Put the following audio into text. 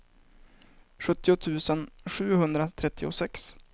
sjuttio tusen sjuhundratrettiosex